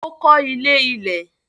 Ó kọ́ ilé ilẹ̀.